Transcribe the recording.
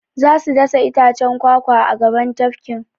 Za su dasa itacen kwakwa a gaban tafkin.